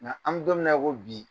Nka an bi don min na i ko bi,